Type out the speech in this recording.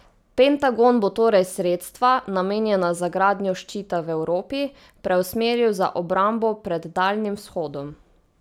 Pentagon bo torej sredstva, namenjena za gradnjo ščita v Evropi, preusmeril za obrambo pred Daljnim vzhodom.